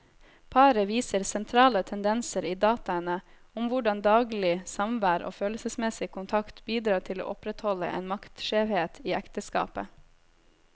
Paret viser sentrale tendenser i dataene om hvordan daglig samvær og følelsesmessig kontakt bidrar til å opprettholde en maktskjevhet i ekteskapet.